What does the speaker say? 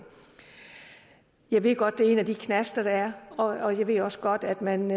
jeg ved godt det er en af de knaster der er og jeg ved også godt at man